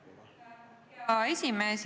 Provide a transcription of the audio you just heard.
Hea esimees!